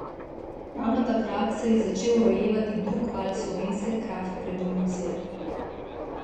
Ravno takrat se je začel rojevati drugi val slovenske kraft revolucije.